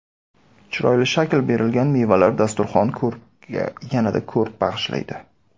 Chiroyli shakl berilgan mevalar dasturxon ko‘rkiga yanada ko‘rk bag‘ishlaydi.